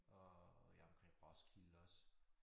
Og ja omkring Roskilde også